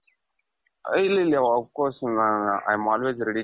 ಇರ್ಲಿ ಇರ್ಲಿ of course I am always ready.